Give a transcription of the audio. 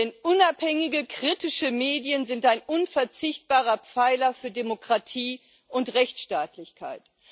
Denn unabhängige, kritische Medien sind ein unverzichtbarer Pfeiler der Demokratie und Rechtsstaatlichkeit.